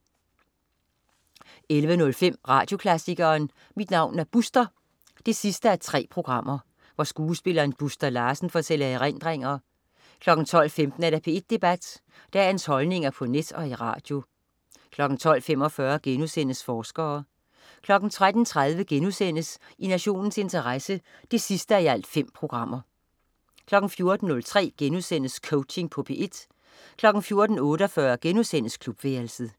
11.05 Radioklassikeren. Mit navn er Buster 3:3. Skuespilleren Buster Larsen fortæller erindringer 12.15 P1 Debat. Dagens holdninger på net og i radio 12.45 Forskere* 13.30 I nationens interesse 5:5* 14.03 Coaching på P1* 14.48 Klubværelset*